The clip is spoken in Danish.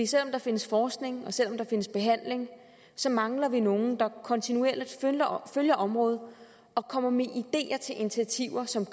selv om der findes forskning og selv om der findes behandling så mangler vi nogen der kontinuerligt følger området og kommer med ideer til initiativer som